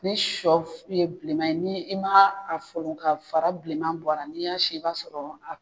Ni siyɔ ye bilenma ye ni i ma folon k'a fara bilenma bɔra n'i y'a sin i b'a sɔrɔ a